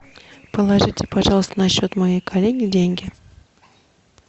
положите пожалуйста на счет моей коллеги деньги